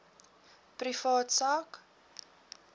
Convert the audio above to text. privaat sak